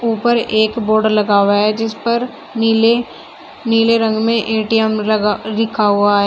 ऊपर एक बोर्ड लगा हुआ है जिस पर नीले नीले रंग में ए_टी_एम लगा लिखा हुआ है।